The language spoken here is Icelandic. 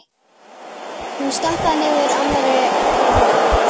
Hún stappaði niður annarri framlöppinni.